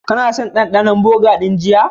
Kana son dandanon burger din jiya?